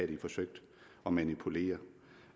de forsøgt at manipulere